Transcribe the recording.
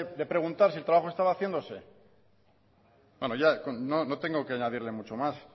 de preguntar si el trabajo estaba haciéndose bueno no tengo que añadirle mucho más